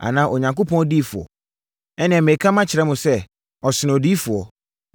Anaa Onyankopɔn odiyifoɔ? Ɛnneɛ, mereka makyerɛ mo sɛ, ɔsene odiyifoɔ.